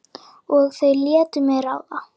Og þau létu mig ráða.